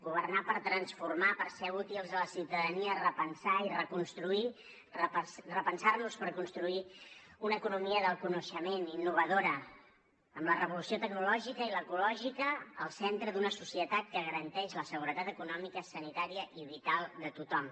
governar per transformar per ser útils a la ciutadania repensar i reconstruir repensar nos per construir una economia del coneixement innovadora amb la revolució tecnològica i l’ecològica al centre d’una societat que garanteix la seguretat econòmica sanitària i vital de tothom